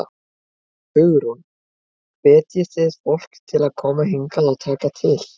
Hugrún: Hvetjið þið fólk til að koma hingað og taka til?